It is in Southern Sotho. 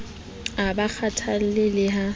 a ba kgathalle le ha